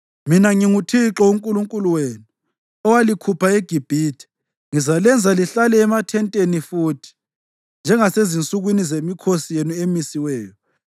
“Mina nginguThixo uNkulunkulu wenu owalikhupha eGibhithe; ngizalenza lihlale emathenteni futhi, njengasezinsukwini zemikhosi yenu emisiweyo.